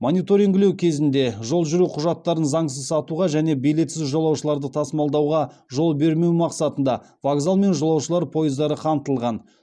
мониторингілеу кезінде жол жүру құжаттарын заңсыз сатуға және билетсіз жолаушыларды тасымалдауға жол бермеу мақсатында вокзал мен жолаушылар пойыздары қамтылған